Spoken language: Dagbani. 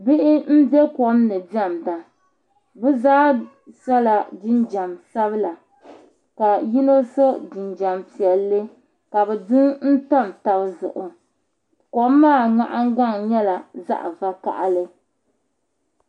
Bihi m be kom ni diɛmda bɛ zaa sɔla jinjam sabila ka yino so jinjam piɛlli ka bɛ du n tam taba zuɣu kom maa nahingbaŋ nyɛla zaɣ vakahili